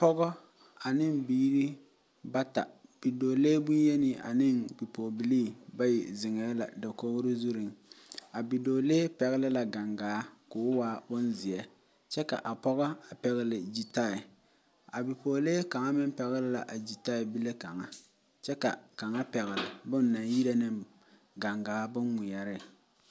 Pɔgɔ ane biiri bata bidɔɔlee bonyei ane bipɔgeba bayi ziŋ la dakogro zuiŋ,a bi pɔgelee pɛŋli la gaŋgaa k'o waa bonzeɛ kyɛ ka a pɔge pɛŋli gyitɛɛ, a bipɔgelee kaŋa meŋ pɛŋli la a gyitɛɛ bile kaŋa, kyɛ ka kaŋa pɛŋli boŋ naŋ yire ne gaŋgaa bon ŋmeɛre.